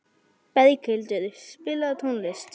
Berghildur, spilaðu tónlist.